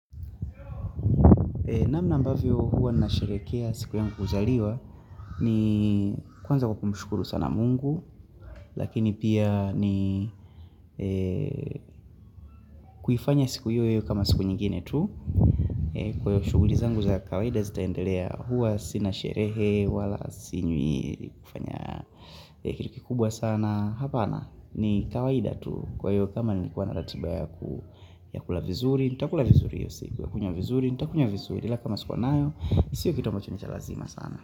Namna ambavyo huwa nasherekea siku yangu kuzaliwa ni kwanza kwa kumushukuru sana mungu Lakini pia ni kuifanya siku hio iwe kama siku nyingine tu Kwa hio shuguli zangu za kawaida zitaendelea huwa sina sherehe wala sinywi kiliki kubwa sana Hapana ni kawaida tu kwa hio kama nilikuwa na ratiba yaku Yakula vizuri, nitakula vizuri hiyo siku, niakunywa vizuri, nitakunywa vizuri la kama sikuwa nayo, sio vitu ambacho ni za lazima sana.